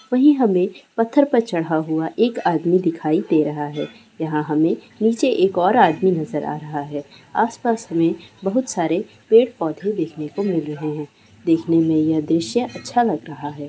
वही हमें पत्थर पर चढ़ा हुआ एक आदमी दिखाई दे रहा है यहां हमें नीचे एक और आदमी नजर आ रहा है आसपास में बहुत सारे पेड़ पौधे देखने को मिल रहे हैं देखने में ये दृश्य अच्छा लग रहा है।